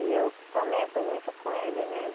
E eu comento muito com ele, né?